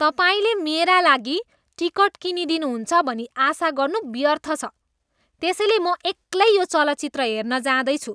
तपाईँले मेरा लागि टिकट किनिदिनुहुन्छ भनी आशा गर्नु व्यर्थ छ, त्यसैले म एक्लै यो चलचित्र हेर्न जाँदैछु।